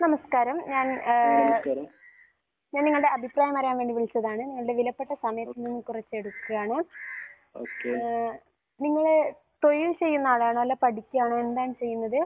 നമസ്കാരം. ഞാൻ ഏഹ് ഞാൻ നിങ്ങളുടെ അഭിപ്രായം അറിയാൻ വേണ്ടി വിളിച്ചതാണ്. നിങ്ങളുടെ വിലപ്പെട്ട സമയം കുറച്ച് എടുക്കുകയാണ്. ഏഹ് നിങ്ങൾ തൊഴിൽ ചെയ്യുന്ന ആളാണോ അല്ല പഠിക്കുകയാണോ? എന്താണ് ചെയ്യുന്നത്?